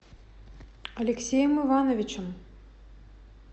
алексеем ивановичем